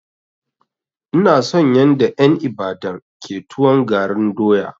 Ina son yanda en Ibadan ke tuwon garin doya.